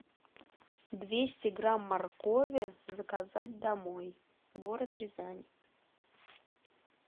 двести грамм моркови заказать домой город рязань